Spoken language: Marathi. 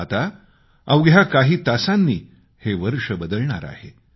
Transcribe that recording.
आता अवघ्या काही तासांनी हे वर्ष बदलणार आहे